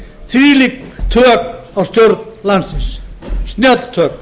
þvílík tök á stjórn landsins snjöll tök